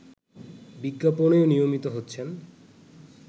বিজ্ঞাপনেও নিয়মিত হচ্ছেন